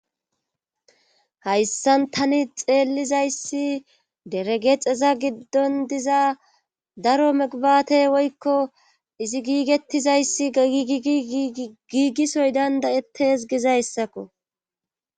Hayssan tani xeellizayssi deregeexeza giddon diza daro megbate woykko izi giigettizayssi gagigi giigisoy dandayettes gizayssakko.